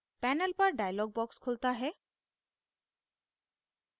panel पर dialog box खुलता है